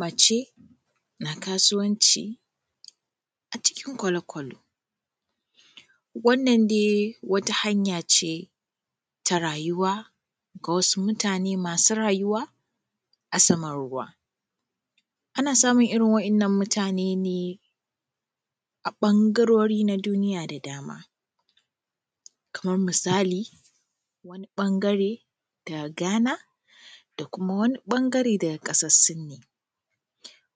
Mace, na kasuwanci acikin kʷalo-kʷalo. Wannan dai wata hanya ce ta rayuwa. Ga wasu mutane masu rajuwa a saman ruwa. Ana samun irin wayan nan mutane ne, a bangarori na duniya da dama. Kamar misali wani bangare da Ghana. Da kuma wani bangare daga ƙasar sinni.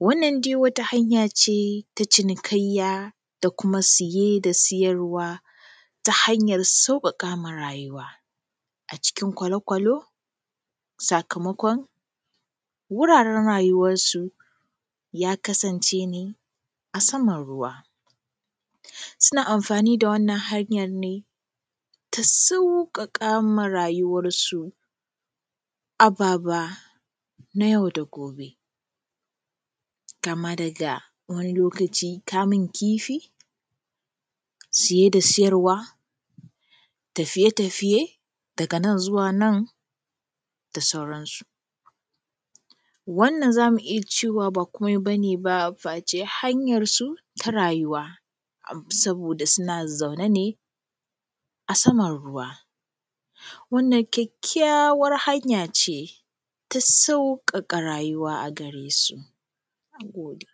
Wannan dai wata hanya ce, ta cinikayya da kuma siye da siyarwa. Ta hanyar sauƙaƙama rayuwa. Acikin kʷalo kʷalo, sakamakon wuraren rayuwarsu. Ya kasance ne a saman ruwa. Suna amfani da wannan hanyan ne, ta sauƙaƙama rayuwarsu. Ababa na yau da gobe. Kama daga wani lokacin kamun kifi, siye da siyarwa. Tafiye tafiye daga nan zuwa nan da sauransu. Wannan zamu iya cewa ba komai bane ba, face hanyar su ta rayuwa. Saboda suna zaune ne, a saman ruwa. wannan kyakkyawar hanya ce, ta sauƙaƙa rayuwa agaresu. Nagode.